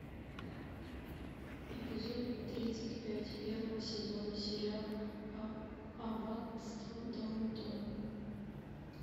эпизод тридцать пять первого сезона сериала аббатство даунтон